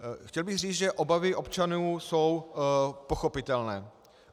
Chtěl bych říci, že obavy občanů jsou pochopitelné.